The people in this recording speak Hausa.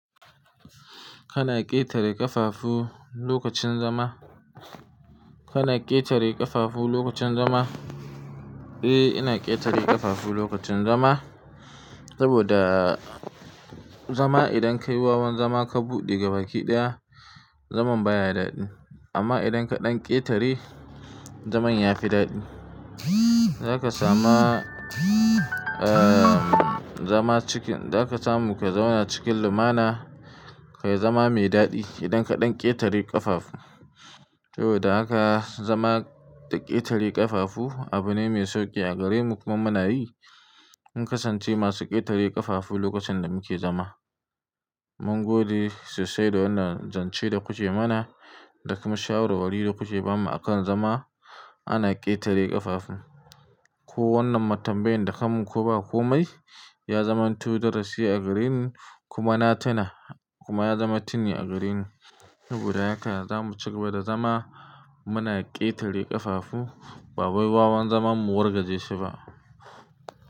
Kana ƙetare ƙafafu lokacin zama? Kana ƙetare ƙafafu lokacin zama? Eh, ina ƙetare ƙafafu lokacin zama. Saboda zama idan kai wawan zama ka buɗe gaba ki ɗiya, zaman baya daɗi. Amma idan ka ɗan ƙetare, zaman ya fi daɗi. Zaka sama, eh, zama cikin-- za ka samu ka zauna cikin lumana, ka yi zama mai daɗi idan ka ɗan ƙetare ƙafafu. Saboda haka zama da ƙetare ƙafafu abu ne mai sauƙi a gare mu kuma muna yi. Mun kasance masu ƙetare ƙafafu lokacin da muke zama. Mun gode sosai da wannan zance da kuke mana da kuma shawarwari da kuke bamu akan zama ana ƙetare ƙafafu. Ko wannan ma tambayan da ka mun ko ba ko mai, ya zaman to darasi a gare mu kuma na tuna kuma ya zama tini a gare ni. Saboda haka zamu ci gaba da zama muna ƙetare ƙafafu ba wai wawan zaman mu wargaje shi ba.